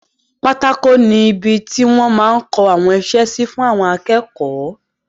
Pátákó ni ibi ti wọ́n máa n kọ àwọn isẹ́ sí fún àwọn akẹ́kọ̀ọ́